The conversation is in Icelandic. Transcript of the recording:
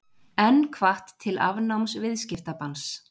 Enn hvatt til afnáms viðskiptabanns